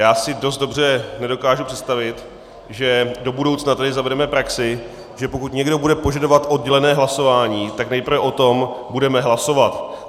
Já si dost dobře nedokážu představit, že do budoucna tady zavedeme praxi, že pokud někdo bude požadovat oddělené hlasování, tak nejprve o tom budeme hlasovat.